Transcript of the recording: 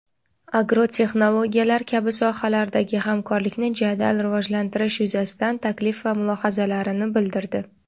agrotexnologiyalar kabi sohalardagi hamkorlikni jadal rivojlantirish yuzasidan taklif va mulohazalarini bildirdi.